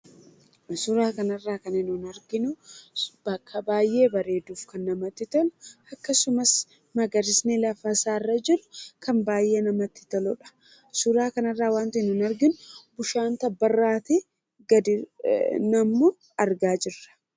Suuraa kanaa gadii irratti kan argamu bakka baayyee bareeduu fi namatti toluu dha. Akkasumas magariisummaan isaas baayyee kan namatti toluu dha. Bishaan gaara irraa gadi fincaa'us ni argama.